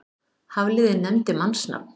Hafliði nefndi mannsnafn.